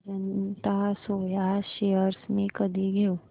Ajanta soya shares मी कधी घेऊ